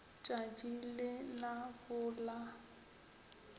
tšatši le la bo la